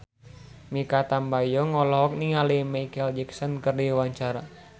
Mikha Tambayong olohok ningali Micheal Jackson keur diwawancara